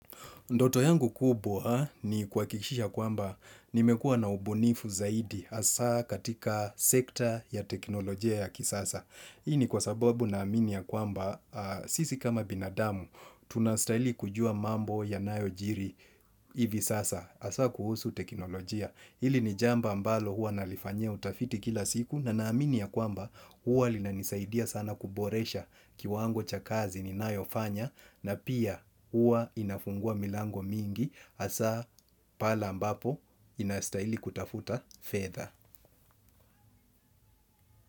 Ndoto yangu kubwa ni kuhakikisha kwamba nimekuwa na ubunifu zaidi hasa katika sekta ya teknolojia ya kisasa. Hii ni kwa sababu naamini ya kwamba sisi kama binadamu tunastahili kujua mambo yanayojiri hivi sasa hasa kuhusu teknolojia. Hili ni jambo ambalo huwa nalifanyia utafiti kila siku na naamini ya kwamba huwa linanisaidia sana kuboresha kiwango cha kazi ninayofanya na pia huwa inafungua milango mingi hasa pale ambapo inastahili kutafuta fedha.